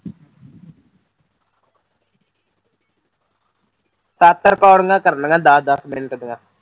ਸੱਤ ਰਿਕਾਡਿੰਗਾਂ ਕਰਨੀਆੰ ਦੱਸ ਦੱਸ ਮਿੰਟ ਦੀਆਂ